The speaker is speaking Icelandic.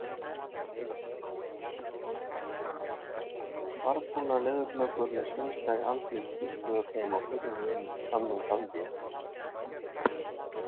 Svarbrúnar leðurblökur með svínsleg andlit þustu að þeim og hurfu inn annan ganginn.